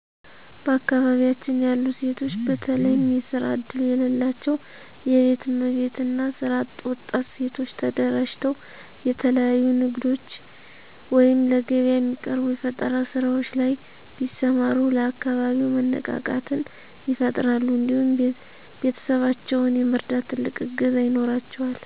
በአካባቢያችን ያሉ ሴቶች በተለየም የስራ እድል የለላቸው የቤት እመቤት እና ስራ አጥ ወጣት ሴቶች ተደራጅተው የተለያዩ ንግዶች ወይም ለገቢያ የሚቀርቡ የፈጠራ ስራዎች ላይ ቢሰማሩ ለአካባቢው መነቃቃትን ይፈጥራሉ እንዲሁም ቤተሰባቸውን የመርዳት ትልቅ እገዛ ይኖራቸዋል።